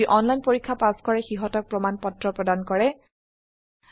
যি অনলাইন পৰীক্ষা পাস কৰে সিহতক প্ৰশংসাপত্ৰ সাৰ্টিফিকেট ও দিয়া হয়